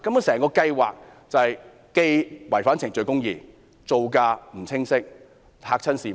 整個計劃既違反程序公義，造價也不清晰，嚇壞市民。